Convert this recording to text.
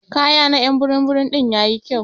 Kaya na y'an burum burum din yayi kyau.